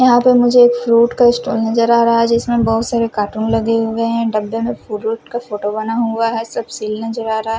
यहाँ पे मुझे एक फ्रूट का स्टाल नज़र आ रहा है जिसमें बहुत सारे कार्टून लगे हुए हैं डब्बे में फ्रूट का फोटो बना हुआ है सब शील नज़र आ रहा--